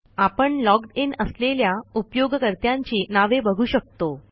आपण logged in असलेल्या उपयोगकर्त्यांची नावे बघू शकतो